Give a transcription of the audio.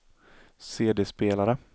CD-spelare